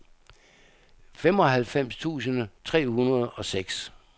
femoghalvfems tusind tre hundrede og seks